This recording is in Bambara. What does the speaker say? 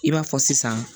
I b'a fɔ sisan